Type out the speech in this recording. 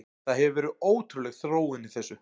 Það hefur verið ótrúleg þróun í þessu.